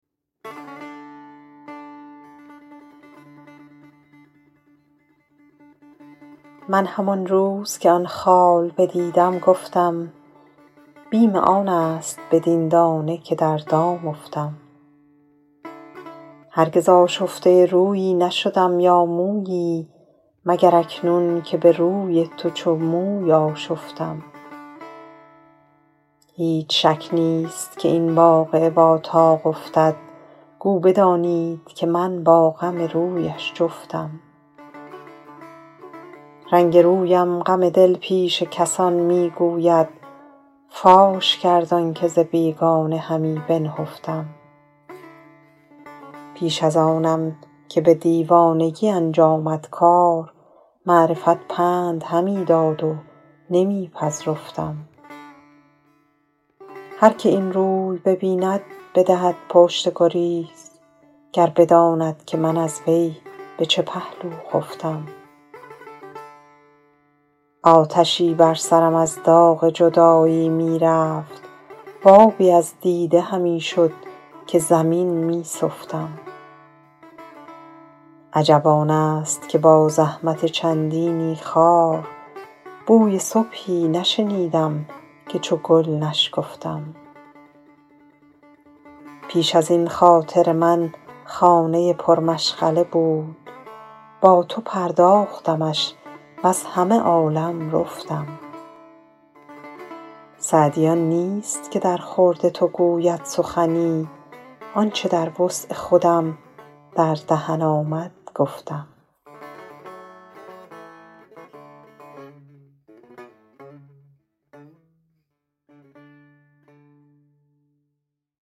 من همان روز که آن خال بدیدم گفتم بیم آن است بدین دانه که در دام افتم هرگز آشفته رویی نشدم یا مویی مگر اکنون که به روی تو چو موی آشفتم هیچ شک نیست که این واقعه با طاق افتد گو بدانید که من با غم رویش جفتم رنگ رویم غم دل پیش کسان می گوید فاش کرد آن که ز بیگانه همی بنهفتم پیش از آنم که به دیوانگی انجامد کار معرفت پند همی داد و نمی پذرفتم هر که این روی ببیند بدهد پشت گریز گر بداند که من از وی به چه پهلو خفتم آتشی بر سرم از داغ جدایی می رفت و آبی از دیده همی شد که زمین می سفتم عجب آن است که با زحمت چندینی خار بوی صبحی نشنیدم که چو گل نشکفتم پیش از این خاطر من خانه پرمشغله بود با تو پرداختمش وز همه عالم رفتم سعدی آن نیست که درخورد تو گوید سخنی آن چه در وسع خودم در دهن آمد گفتم